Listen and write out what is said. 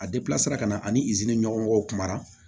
A sira ka na ani ɲɔgɔn kuma na